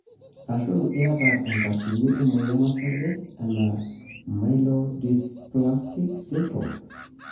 ashu iyata enkatini emoyian osarge ena myelodysplastic sydrome.